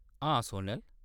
हां, सोनल।